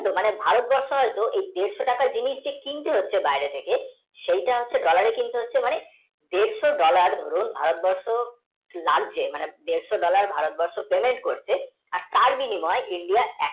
মানে ভারত বর্ষ এই ডেড় টাকার জিনিস কিনতে হচ্ছে বাইরে থেকে সেটা হচ্ছে dollar এ কিনতে হচ্ছে মানে দেড়শ dollar ভারত বর্ষ বাড়ছে মানে দেড়শ dollar ভারতবর্ষ payment করছে আর তার বিনিময় India